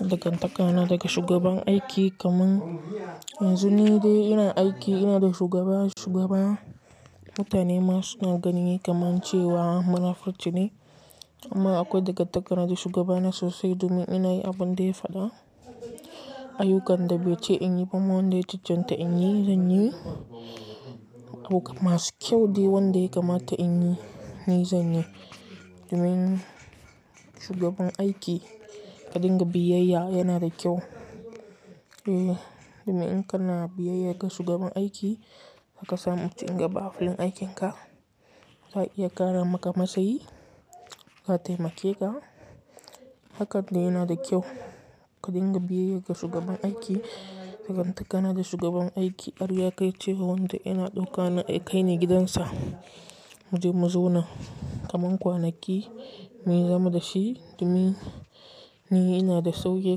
Dagantakana daga shugaban aiki kaman yanzu ni dai ina aiki, ina da shugaba, shugaba mutane ma suna ganin kamar cewa munafurci ne amma akwai dagantakana da shugabana sosai domin ina yi abin da ya faɗa. Ayyukan da bai ce in yi, bamman dai jijjen da in yi, zan yi. Abu masu kyau dai wanda kamata in yi, ni zan yi. Domin shugaban aiki ka dinga biyayya yana da kyau. Eh, domin in kana biyayya ga shugaban aiki, haka sa mu ci gaba a filin aikinka. Za a iya ƙara maka matsayi, za a taimake ka. Hakan dai yana da kyau ka dinga biyayya ga shugaban aiki. Dagantakana da shugaban aiki, har ya kai cewa wanda ina ɗauka kai ne gidansa. Mu je mu zauna kamar kwanaki, mu yi zama da shi domin ni ina da saukin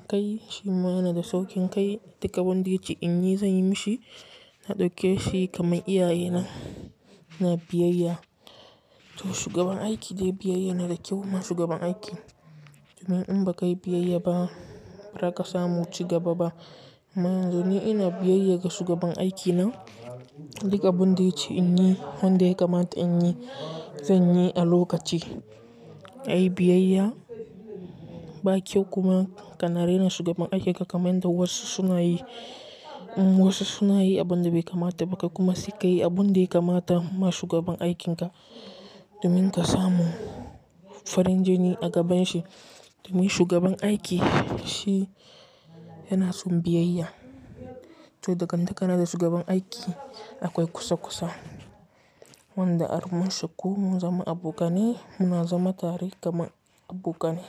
kai, shi ma yana da saukin kai. Duk abun da ya ce in yi, zan yi mishi. Na ɗauke shi kamar iyaye na, ina biyayya. To shugaban aiki dai biyayya yana da kyau ma shugaban aiki. Domin in ba ka yi biyayya ba, ba za ka samu ci gaba ba. Domin ina biyayya ga shugaban aikina duk abun da ya ce in yi, wanda yakamata in yi, zan yi a lokaci. Yi biyayya ba kyau kuma ka na rena shugaban aiki ka kaman da wasu sunayi, wasu sunayi abin da bai kamata ba ka kuma saka yi abin da ya kamata ma shugaban aikinka domin ka samu farin jini a gaban shi. Domin shugaban aiki shi yana son biyayya. To dagantakana da shugaban aiki akwai kusa kusa. Wanda har mun shaku, mun zama abokanai, muna zama tare kamar abokanai.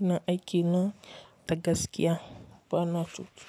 Ina aiki na da gaskiya bana cutu.